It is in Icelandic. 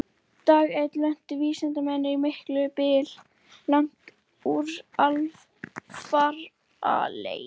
Dag einn lentu vísindamennirnir í miklum byl langt úr alfaraleið.